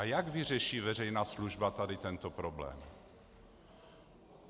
A jak vyřeší veřejná služba tady tento problém?